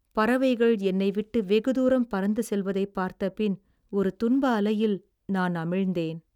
பறவைகள் என்னை விட்டு வெகு தூரம் பறந்து செல்வதை பார்த்த பின் ஒரு துன்ப அலையில் நான் அமிழ்ந்தேன்